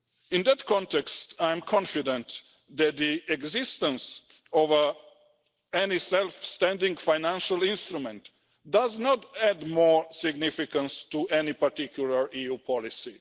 In that context, I am confident that the existence of any self-standing financial instrument does not add more significance to any particular EU policy.